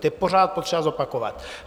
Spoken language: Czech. To je pořád třeba opakovat.